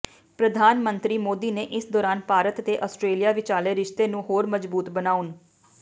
ਪ੍ਰਧਾਨ ਮੰਤਰੀ ਮੋਦੀ ਨੇ ਇਸ ਦੌਰਾਨ ਭਾਰਤ ਤੇ ਆਸਟ੍ਰੇਲੀਆ ਵਿਚਾਲੇ ਰਿਸ਼ਤੇ ਨੂੰ ਹੋਰ ਮਜ਼ਬੂਤ ਬਣਾਉਣ